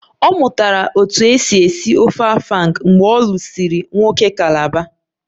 Ọ mụtara otú e si esi ofe afang mgbe ọ lụsịrị nwoke calabar